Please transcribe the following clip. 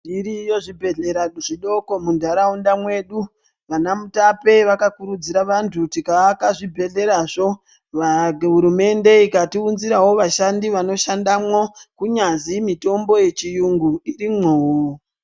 Zviriyo zvibhedhlera zvidoko mundaraunda mwedu vanamutape vakakurudzira vantu tikaaka zvibhedherazvo hurumende ikatiunzirawo vashandi vanoshandamwo kunyanzi mitombo yechiyungu irimwowo.